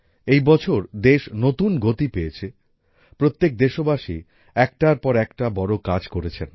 এই বছর দেশ নতুন গতি পেয়েছে প্রত্যেক দেশবাসী একটার পর একটা বড় কাজ করেছেন